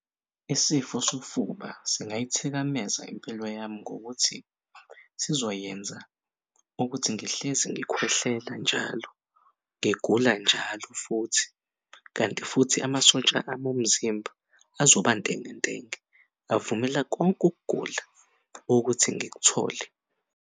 Isifo sofuba singayithikabeza impilo yami ngokuthi sizoyenza ukuthi ngihlezi ngikhwehlela njalo ngigula njalo futhi. Kanti futhi amasotsha ami omzimba azoba ntengentenge, avumela konke ukugula ukuthi ngikuthole.